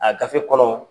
A gafe kɔnɔ